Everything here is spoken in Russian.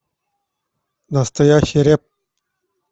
настоящий рэп